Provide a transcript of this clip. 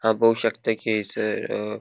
हाव पोव शकता की हैसर अ --